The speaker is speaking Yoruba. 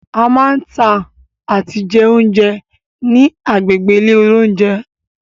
A máa ń tà àti jẹ oúnjẹ ni agbègbè ilé oúnjẹ.